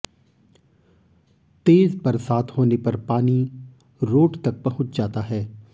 तेज बरसात होने पर पानी रोड तक पहुंच जाता है